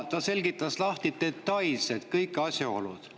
Ta seletas detailselt ära kõik asjaolud.